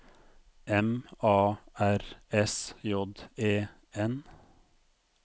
M A R S J E N